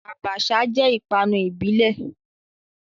Abacha jẹ́ ìpanu ìbílẹ̀.